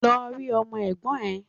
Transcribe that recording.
Lọ rí Ọmọ Ègbón rè